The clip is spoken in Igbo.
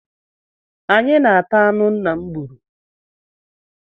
Anyị na-ata anụ nna m gburu